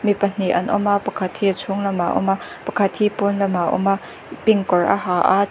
mi pahnih an awm a pakhat hi a chhung lamah awm a pakhat hi pawn lamah a awm a pink kawr a ha a chh--